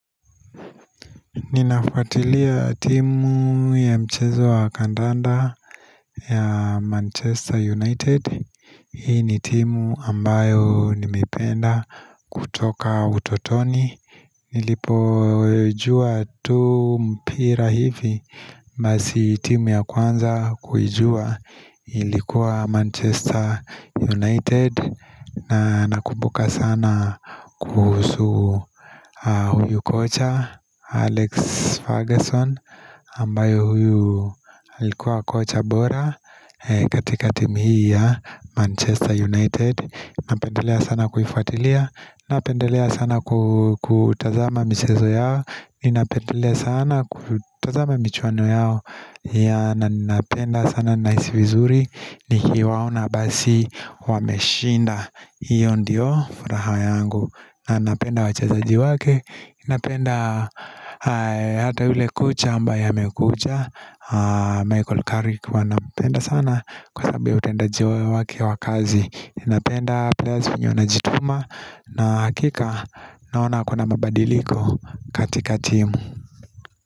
Ninafuatilia timu ya mchezo wa kandanda ya Manchester United, hii ni timu ambayo nimeipenda kutoka utotoni Nilipojua tu mpira hivi basi timu ya kwanza kujua ilikuwa Manchester United na nakumbuka sana kuhusu huyu kocha Alex Ferguson ambayo huyu likuwa kocha bora katika team hii ya Manchester United Napendelea sana kuifuatilia Napendelea sana ku kutazama michezo yao Ninapendelea sana kutazama michuano yao ya na ninapenda sana naisi vizuri ni kiwaona basi wameshinda hiyo ndiyo furaha yangu na napenda wachezaji wake napenda hata ule kocha ambaye amekucha Michael Carrick ua nampenda sana kwa sabu ya utendaji wo wake wakazi napenda players vinye wanajituma na hakika naona kuna mabadiliko katika timu.